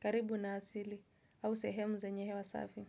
Karibu na asili, au sehemu zenye hewa safi.